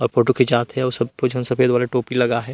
अ photo खिचात हे अऊ सब कुछ झन सफ़ेद वाला टोपी लगाए हे।